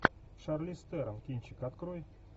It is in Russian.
шарлиз терон кинчик открой